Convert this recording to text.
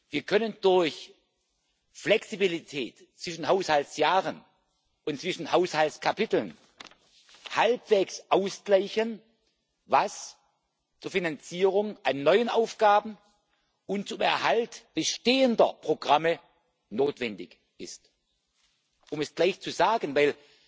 Wir können durch Flexibilität zwischen Haushaltsjahren und zwischen Haushaltskapiteln halbwegs ausgleichen, was zur Finanzierung an neuen Aufgaben und zum Erhalt bestehender Programme notwendig ist. Um es gleich zu sagen